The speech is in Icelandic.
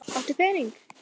Áttu pening?